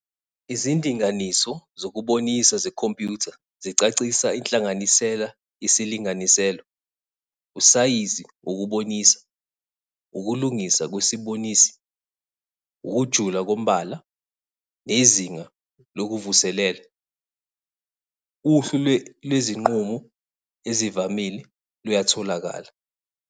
Izindinganiso zokubonisa zekhompyutha zicacisa inhlanganisela yesilinganiselo, usayizi wokubonisa, ukulungiswa kwesibonisi, ukujula kombala, nezinga lokuvuselela. Uhlu lwezinqumo ezivamile luyatholakala.